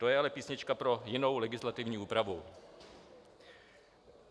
To je ale písnička pro jinou legislativní úpravu.